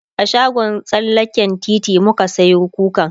a shagon tsallaken titi muka Sayo kukan